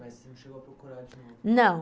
Mas você não chegou a procurar de novo? não.